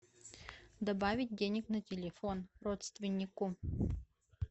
добавить денег на телефон родственнику